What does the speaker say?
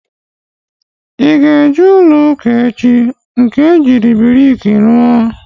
I ga-eje ụlọ ụka echi? Nke eji briki rụọ